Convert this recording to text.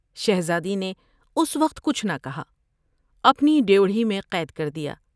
شہزادی نے اس وقت کچھ نہ کہا۔ اپنی ڈیوڑھی میں قید کر دیا ۔